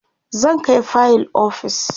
zan Kai fayil ofis